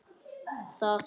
Það þarf ekki meira til.